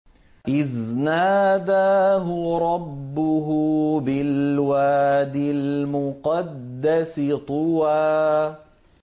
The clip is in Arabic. إِذْ نَادَاهُ رَبُّهُ بِالْوَادِ الْمُقَدَّسِ طُوًى